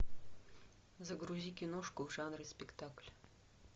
загрузи киношку в жанре спектакль